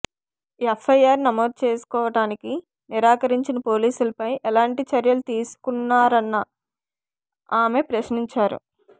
FIR నమోదు చేసుకోవటానికి నిరాకరించిన పోలీసులపై ఎలాంటి చర్యలు తీసుకున్నారని ఆమె ప్రశ్నించారు